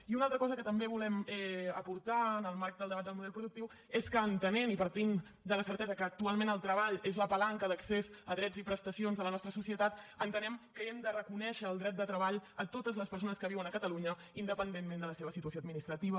i una altra cosa que també volem aportar en el marc del debat del model productiu és que entenent i partint de la certesa que actualment el treball és la palanca d’accés a drets i prestacions de la nostra societat entenem que hem de reconèixer el dret de treball a totes les persones que viuen a catalunya independentment de la seva situació administrativa